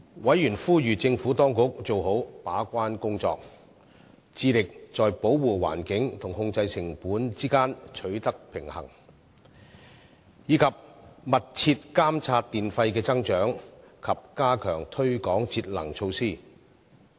委員呼籲政府當局做好把關工作，致力在保護環境和控制成本之間取得平衡，以及密切監察電費的增長及加強推廣節能措施。